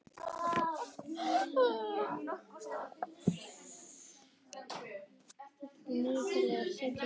Ævarr, stilltu niðurteljara á sjötíu og fjórar mínútur.